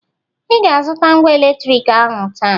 ị ga-azụta ngwa eletriki ahụ taa